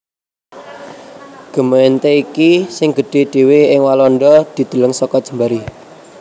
Gemeente iki sing gedhé dhéwé ing Walanda dideleng saka jembaré